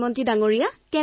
প্ৰধানমন্ত্ৰীঃ হেল্ল